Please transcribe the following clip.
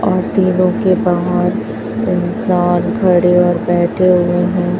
और तीनों के बाहर इंसान खड़े और बैठे हुए हैं।